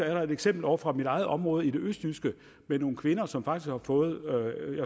er der et eksempel ovre fra mit eget område i det østjyske med nogle kvinder som faktisk har fået